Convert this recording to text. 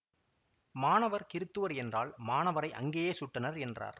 மாணவர் கிறுத்துவர் என்றால் மாணவரை அங்கேயே சுட்டனர் என்றார்